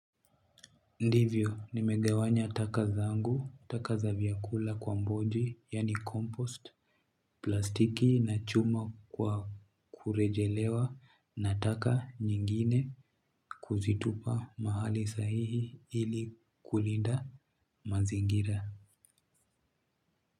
Ndivyo, nimegawanya taka zangu, taka za vyakula kwa mboji, yani compost, plastiki na chuma kwa kurejelewa na taka nyingine kuzitupa mahali sahihi ili kulinda mazingira.